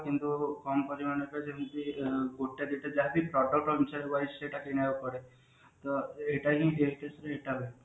କିନ୍ତୁ କମ ପରିମାଣରେ ଯେମତି ଗୋଟେ ଦିଟା ଯାହାବି product ଅନୁସାରେ wise ସେଇଟା କିଣା ହେଇପାରେ ତା ଏଇଟା ହିଁ